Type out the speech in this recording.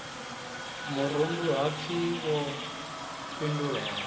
murundu ha pfi wo fhindulela